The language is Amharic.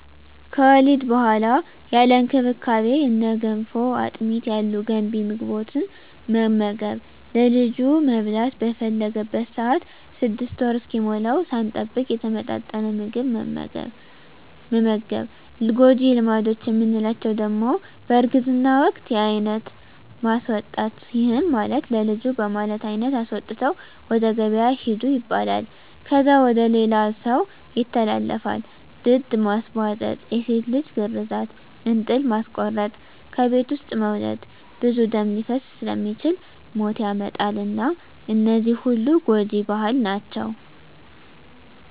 ከወሊድ በኋላ ያለ እንክብካቤ እነ ገንፎ፣ አጥሚት ያሉ ገንቢ ምግቦትን መመገብ፣ ለልጁ መብላት በፈለገበት ሰአት 6 ወር እስኪሞላዉ ሳንጠብቅ የተመጣጠነ ምግብ መመገብ። ጎጂ ልማዶች የምንላቸዉ ደሞ በእርግዝና ወቅት የአይነት ማስወጣት ይህም ማለት ለልጁ በማለት አይነት አስወጥተዉ ወደ ገበያ ሂዱ ይባላል። ከዛ ወደ ሌላ ሰዉ ይተላለፋል፣ ድድ ማስቧጠጥ፣ የሴት ልጅ ግርዛት፣ እንጥል ማስቆረጥ፣ ከቤት ዉስጥ መዉለድ ብዙ ደም ሊፈስ ስለሚችል ሞት ያመጣል እና እነዚህ ሁሉ ጎጂ ባህል ናቸዉ።